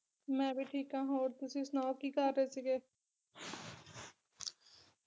ਮੈਂ ਵੀ ਠੀਕ ਆ ਹੋਰ ਤੁਸੀ ਸੁਣਾਓ ਕੀ ਕਰ ਰਹੇ ਸੀਗੇ